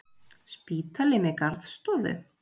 Spítali með garðstofu!